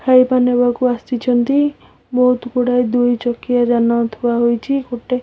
ଖାଇବା ନେବାକୁ ଆସିଚନ୍ତି ବୋହୁତ୍ ଗୁଡାଏ ଦୁଇ ଚକିଆ ଯାନ ଥୁଆ ହୋଇଚି ଗୋଟେ--